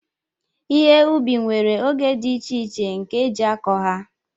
ihe ubi nwere oge dị iche iche nke eji akọ ha